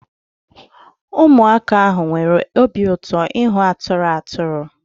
Weremụaka ahụ nwere obi ụtọ ịhụ atụrụ atụrụ